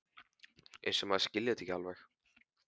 Eins og maður skilji þetta ekki alveg!